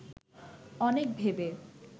অনেক ভেবে